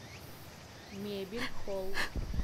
мебель холл